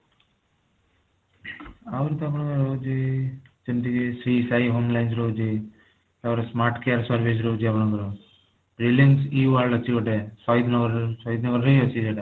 ଆହୁରି ତ ଆପଣଙ୍କର ରହୁଛି ଯେମିତି କି ଶ୍ରୀ ସାଇ homelines ରହୁଛି ଆଉ ଗୋଟେ smart care service ରହୁଛି ଆପଣଙ୍କର buildings you and ଅଛି ଗୋଟେ ସହିଦ ନଗର ସହିଦ ନଗର ରେ ହିଁ ଅଛି ସେଇଟା